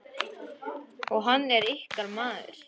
Og hann er ykkar maður.